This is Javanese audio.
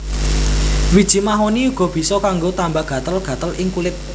Wiji mahoni uga bisa kanggo tamba gatel gatel ing kulit